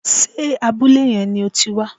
Sé abúlé yẹn ni o ti wá